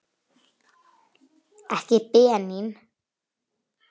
Ekki Benín.